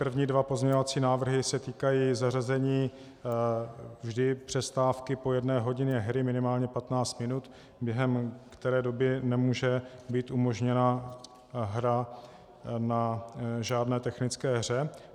První dva pozměňovací návrhy se týkají zařazení vždy přestávky po jedné hodině hry minimálně 15 minut, během které doby nemůže být umožněna hra na žádné technické hře.